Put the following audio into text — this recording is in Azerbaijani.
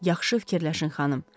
Yaxşı fikirləşin xanım.